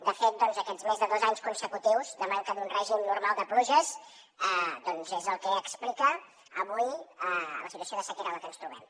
de fet aquests més de dos anys consecutius de manca d’un règim normal de pluges és el que explica avui la situació de sequera en la que ens trobem